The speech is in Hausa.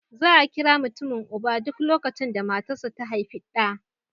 Za a kira mutumin uba, duk lokacin da matarsa ​​ta haifi ɗa